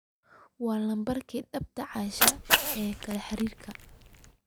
waa lambarka dhabta asha ee xiriirkayga